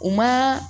U ma